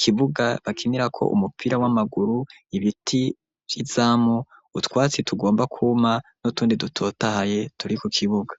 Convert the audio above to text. kibuga bakinira ko umupira w'amaguru, ibiti vyizamu utwatsi tugomba kuma n'utundi dutotahaye turi ku kibuga.